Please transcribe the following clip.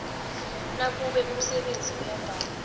nakube umsebenzi uyabhala